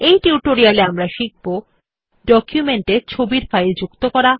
এই টিউটোরিয়াল এ আমরা শিখব ডকুমেন্ট এ ছবির ফাইল যুক্ত করা